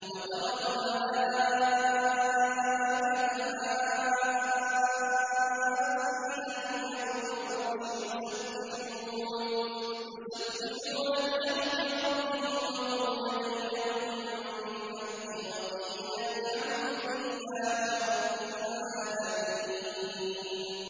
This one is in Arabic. وَتَرَى الْمَلَائِكَةَ حَافِّينَ مِنْ حَوْلِ الْعَرْشِ يُسَبِّحُونَ بِحَمْدِ رَبِّهِمْ ۖ وَقُضِيَ بَيْنَهُم بِالْحَقِّ وَقِيلَ الْحَمْدُ لِلَّهِ رَبِّ الْعَالَمِينَ